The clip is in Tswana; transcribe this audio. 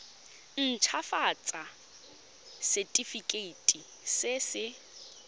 nt hafatsa setefikeiti se se